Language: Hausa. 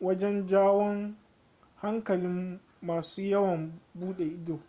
wajen jawon hankalin masu yawon bude ido